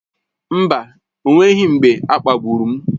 Mba, o nweghị mgbe a kpagburu m.